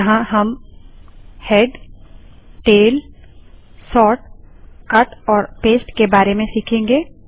यहाँ हम head tail sort cut और पेस्ट के बारे में सीखेंगे